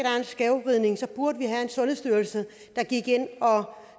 er en skævvridning burde have en sundhedsstyrelse der gik ind og